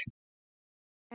Þín, Helga.